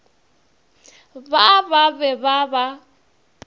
ba ba be ba ba